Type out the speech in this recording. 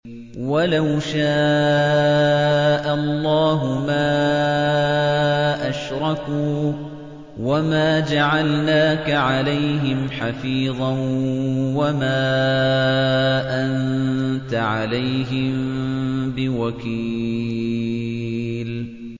وَلَوْ شَاءَ اللَّهُ مَا أَشْرَكُوا ۗ وَمَا جَعَلْنَاكَ عَلَيْهِمْ حَفِيظًا ۖ وَمَا أَنتَ عَلَيْهِم بِوَكِيلٍ